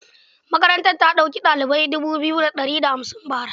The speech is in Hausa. Makarantar da ɗauki ɗalibai dubu biyu da ɗari da hamsin bara.